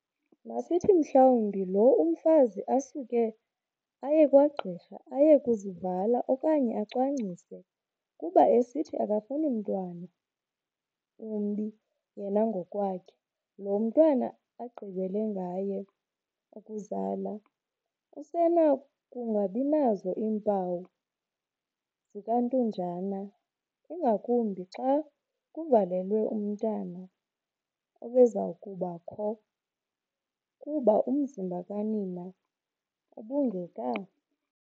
Masithi mhlawumbi lo umfazi asuke ayekwagqirha aye kuzivala okanye acwangcise kuba esithi akafuni mntwana wumbi yena ngokwakhe. loo mntwana agqibele ngaye ukuzala usenokungabinazo iimpawu zikantunjana ingakumbi xa kuvalelwe umntwana obezakuba kho, kuba umzimba kanina ubungeka